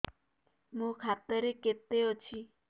ମୋ ଖାତା ରେ କେତେ ଅଛି